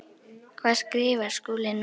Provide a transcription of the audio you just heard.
Hvað skrifar Skúli núna?